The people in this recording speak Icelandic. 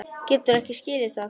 Geturðu ekki skilið það?